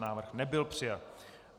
Návrh nebyl přijat.